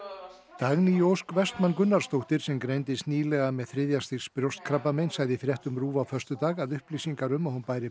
Dagný Ósk Vestmann Gunnarsdóttir sem greindist nýlega með þriðja stigs brjóstakrabbamein sagði í fréttum RÚV á föstudag að upplýsingar um að hún bæri